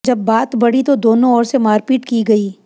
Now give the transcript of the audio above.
जब बात बढ़ी तो दोनों ओर से मारपीट की गई